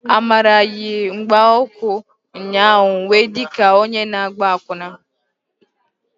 Amara yi mgbaukwu ụnyaahụ wee di ka onye na-agba akwụna.